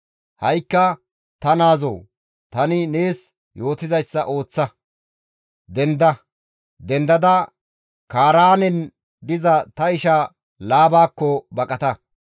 Ha7ikka ta naazoo, tani nees yootizayssa ooththa. Denda! Dendada Kaaraanen diza ta isha Laabakko baqata!